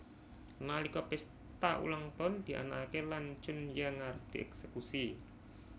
Nalika pesta ulang tahun dianakake lan Chunhyang arep dieksekusi